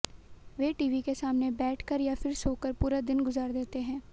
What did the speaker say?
वे TV के सामने बैठकर या फिर सो कर पूरा दिन गुजार देते हैं